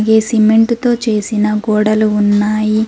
ఈ సిమెంట్ తో చేసిన గోడలు ఉన్నాయి.